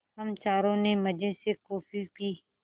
हम चारों ने मज़े से कॉफ़ी पी